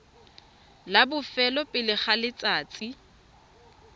la bofelo pele ga letsatsi